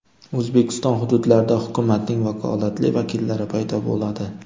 O‘zbekiston hududlarida hukumatning vakolatli vakillari paydo bo‘ladi .